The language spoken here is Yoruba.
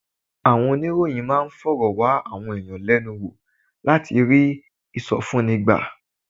Àwọn oníròyìn máa ń fọ̀rọ̀ wá àwọn èèyàn lẹ́nu wò láti rí ìsọfúnni gbà